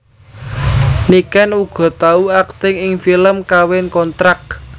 Niken uga tau akting ing film Kawin Kontrak